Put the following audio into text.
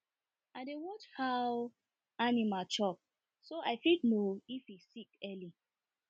i dey watch how animal chop so i fit know if e sick early